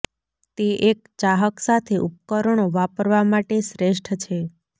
તે એક ચાહક સાથે ઉપકરણો વાપરવા માટે શ્રેષ્ઠ છે